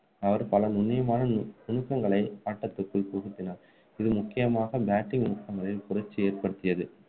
அவர் பல நுண்ணியமான நுணுக்கங்களை ஆட்டத்துக்குள்புகுத்தினார் இது முக்கியமாக batting நுணுக்கங்களில் புரட்சி ஏற்படுத்தியது